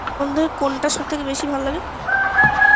মধ্যে কোনটা সব থেকে বেশি ভালো লাগে